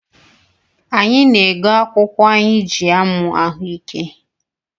Anyị na-ego akwụkwụ anyị jị amụ ahụike